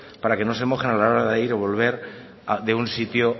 para que no se mojen a la hora de ir o volver de un sitio